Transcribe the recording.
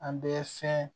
An bɛ fɛn